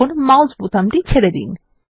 এখন মাউস বোতামটি ছেরে দিন